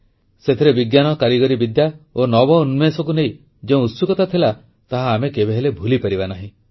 ସେଥିରେ ବିଜ୍ଞାନ କାରିଗରୀବିଦ୍ୟା ଓ ନବୋନ୍ମେଷକୁ ନେଇ ଯେଉଁ ଉତ୍ସୁକତା ଥିଲା ତାହା ଆମେ କେବେହେଲେ ଭୁଲିପାରିବା ନାହିଁ